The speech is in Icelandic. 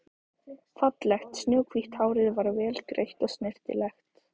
Fallegt snjóhvítt hárið var vel greitt og snyrtilegt.